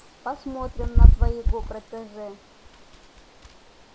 посмотрим на твоего протеже